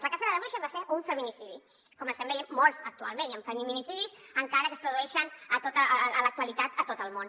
la cacera de bruixes va ser un feminicidi com n’estem veient molts actualment hi ha feminicidis i encara que es produeixen a l’actualitat a tot el món